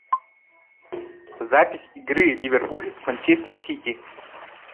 запись игры ливерпуль с манчестер сити